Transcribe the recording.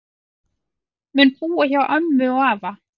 Mun búa hjá ömmu og afa